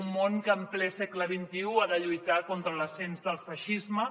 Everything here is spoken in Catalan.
un món que en ple segle xxi ha de lluitar contra l’ascens del feixisme